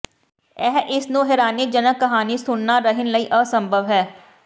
ਇਹ ਇਸ ਨੂੰ ਹੈਰਾਨੀਜਨਕ ਕਹਾਣੀ ਸੁਣਨਾ ਰਹਿਣ ਲਈ ਅਸੰਭਵ ਹੈ